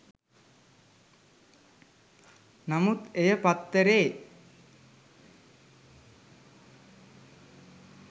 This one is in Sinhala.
නමුත් එය පත්තරේ